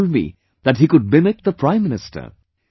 And he told me that he could mimic the Prime Minister